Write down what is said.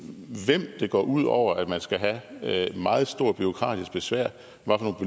hvem det går ud over at man skal have meget stort bureaukratisk besvær